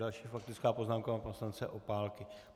Další faktická poznámka pana poslance Opálky.